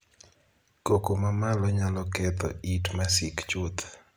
Koko ma malo nyalo ketho it masik chuth.